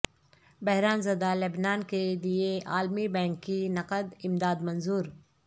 بحران زدہ لبنان کے لیے عالمی بینک کی نقد امداد منظور